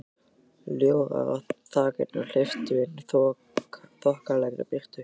Ljórar á þakinu hleyptu inn þokkalegri birtu.